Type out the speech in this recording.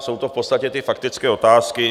Jsou to v podstatě ty faktické otázky.